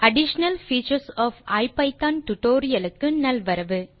additional features of ஐபிதான் tutorial க்கு நல்வரவு